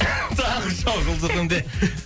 таңғы шоу жұлдыз эф эм де